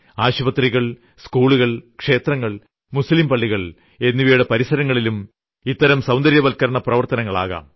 ആശുപത്രികൾ സ്കൂളുകൾ ക്ഷേത്രങ്ങൾ മുസ്ലീം പള്ളികൾ എന്നിവയുടെ പരിസരങ്ങളിലും ഇത്തരം സൌന്ദര്യവത്ക്കരണ പ്രവർത്തനങ്ങൾ ആകാം